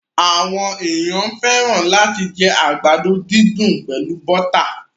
Àwọn ènìyàn fẹ́ràn làti jẹ àgbàdo didùn pẹlu bọ́tà